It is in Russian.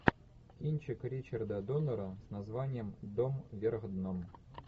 кинчик ричарда доннера с названием дом вверх дном